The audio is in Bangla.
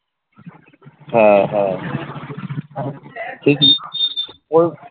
হ্যাঁ হ্যাঁ ঠিক ই